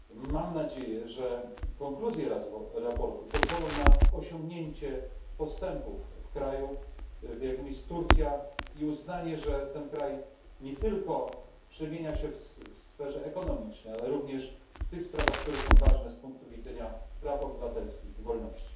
Mam nadzieję, że konkluzje sprawozdania pozwolą na osiągnięcie postępów w kraju, jakim jest Turcja, i uznanie, że ten kraj nie tylko przemienia się w sferze ekonomicznej, ale również w tych sprawach, które są ważne z punktu widzenia praw obywatelskich i wolności.